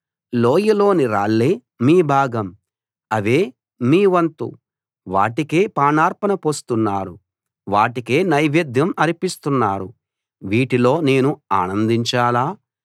లోయలోని రాళ్ళే మీ భాగం అవే మీ వంతు వాటికే పానార్పణ పోస్తున్నారు వాటికే నైవేద్యం అర్పిస్తున్నారు వీటిలో నేను ఆనందించాలా